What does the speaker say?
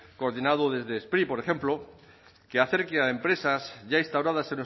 coordinado desde spri por ejemplo que acerque a empresas ya instauradas